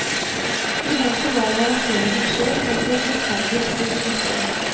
I boken lar jeg raseringen skje, for at det forferdelige skulle kunne finne sted.